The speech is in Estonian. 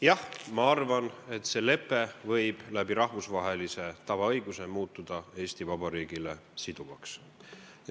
Jah, ma arvan, et see lepe võib rahvusvahelise tavaõiguse kaudu muutuda Eesti Vabariigile siduvaks.